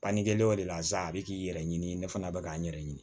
Bannikɛlaw de lasa a bɛ k'i yɛrɛ ɲini ne fana bɛ k'an yɛrɛ ɲini